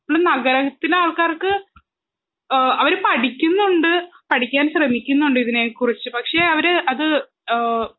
നമ്മള് നഗരത്തിലാൾക്കാർക്ക് ഏ അവര് പഠിക്കുന്നുണ്ട് പഠിക്കാൻ ശ്രമിക്കുന്നുണ്ട് ഇതിനെ കുറിച്ച് പക്ഷെ അവര് അത് ഏ